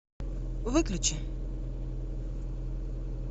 выключи